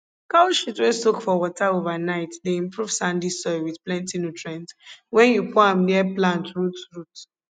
cow shit wey soak for water overnight dey improve sandy soil wit plenti nutrients wen yu pour am near plant roots roots